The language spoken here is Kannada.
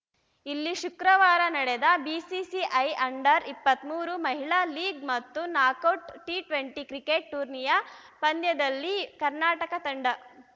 ಇಲ್ಲಿ ಶುಕ್ರವಾರ ನಡೆದ ಬಿಸಿಸಿಐ ಅಂಡರ್‌ ಇಪ್ಪತ್ತ್ ಮೂರು ಮಹಿಳಾ ಲೀಗ್‌ ಮತ್ತು ನಾಕೌಟ್‌ ಟಿಟ್ವೆಂಟಿ ಕ್ರಿಕೆಟ್‌ ಟೂರ್ನಿಯ ಪಂದ್ಯದಲ್ಲಿ ಕರ್ನಾಟಕ ತಂಡ